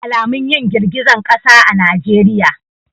Ba alamun yin girgizan kasa a najeriya.